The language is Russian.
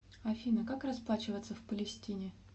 афина как расплачиваться в палестине